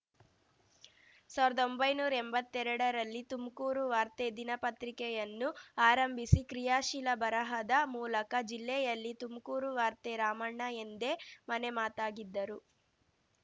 ಸಾವಿರದೊಂಭೈನೂರಾ ಎಂಬತ್ತೆರಡರಲ್ಲಿ ತುಮ್ಕೂರು ವಾರ್ತೆ ದಿನಪತ್ರಿಕೆಯನ್ನು ಆರಂಭಿಸಿ ಕ್ರಿಯಾಶೀಲ ಬರಹದ ಮೂಲಕ ಜಿಲ್ಲೆಯಲ್ಲಿ ತುಮ್ಕೂರು ವಾರ್ತೆ ರಾಮಣ್ಣ ಎಂದೇ ಮನೆ ಮಾತಾಗಿದ್ದರು